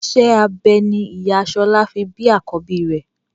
Iṣẹ́ abẹ ni ìyá Ṣọlá fi bí àkọ́bí rẹ̀.